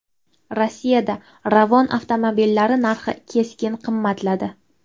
Rossiyada Ravon avtomobillari narxi keskin qimmatladi.